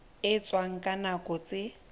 e etswang ka nako tse